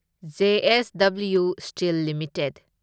JSW steel limited